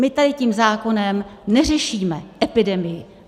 My tady tím zákonem neřešíme epidemii.